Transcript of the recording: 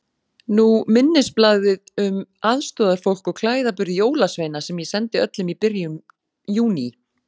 Nú minnisblaðið um aðstoðarfólk og klæðaburð jólasveina sem ég sendi öllum í byrjun Júní.